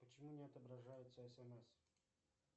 почему не отображается смс